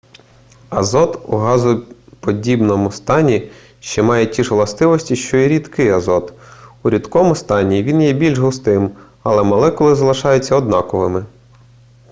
азот у газоподібному стані ще має ті ж властивості що і рідкий азот у рідкому стані він є більш густим але молекули залишаються однаковими